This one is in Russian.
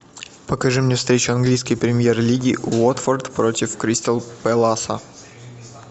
покажи мне встречу английской премьер лиги уотфорд против кристал пэласа